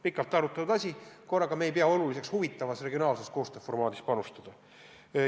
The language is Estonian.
Pikalt arutatud asi, aga korraga ei pea me enam oluliseks huvitavas reginaalse koostöö formaadis panustada.